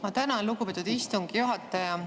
Ma tänan, lugupeetud istungi juhataja!